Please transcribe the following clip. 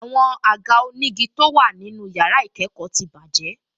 Àwọn àga onígi tó wà nínú yàrá ìkẹ́kọ̀ọ́ ti bàjẹ́